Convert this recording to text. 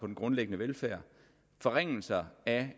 den grundlæggende velfærd forringelser af